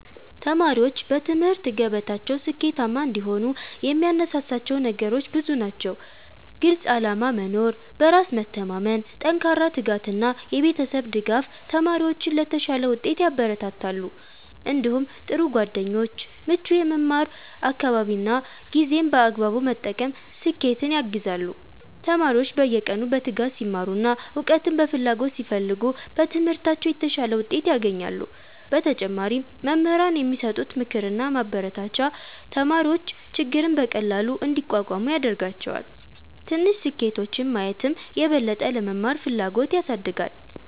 1ተማሪዎች በትምህርት ገበታቸው ስኬታማ እንዲሆኑ የሚያነሳሳቸው ነገሮች ብዙ ናቸው። ግልፅ ዓላማ መኖር፣ በራስ መተማመን፣ ጠንካራ ትጋት እና የቤተሰብ ድጋፍ ተማሪዎችን ለተሻለ ውጤት ያበረታታሉ። እንዲሁም ጥሩ ጓደኞች፣ ምቹ የመማር አካባቢ እና ጊዜን በአግባቡ መጠቀም ስኬትን ያግዛሉ። ተማሪዎች በየቀኑ በትጋት ሲማሩ እና እውቀትን በፍላጎት ሲፈልጉ በትምህርታቸው የተሻለ ውጤት ያገኛሉ። በተጨማሪም መምህራን የሚሰጡት ምክርና ማበረታቻ ተማሪዎች ችግርን በቀላሉ እንዲቋቋሙ ያደርጋቸዋል። ትንሽ ስኬቶችን ማየትም የበለጠ ለመማር ፍላጎት ያሳድጋል።